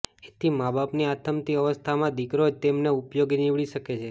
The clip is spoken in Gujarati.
એથી માબાપની આથમતી અવસ્થામાં દીકરો જ તેમને ઉપયોગી નીવડી શકે છે